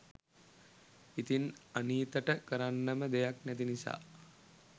ඉතින් අනීතට කරන්නම දෙයක් නැති නිසා